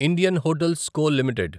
Indian hotels co limited